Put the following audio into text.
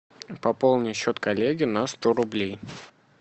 пополни счет коллеги на сто рублей